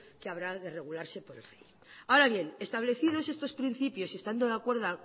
que habrá de regularse por la ley ahora bien establecidos estos principios y estando de acuerdo